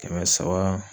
Kɛmɛ saba